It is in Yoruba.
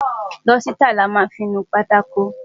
Dọ́sítà ni a máa fí ń nu pátákò.